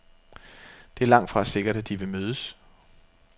Det er langtfra sikkert, at de vil mødes.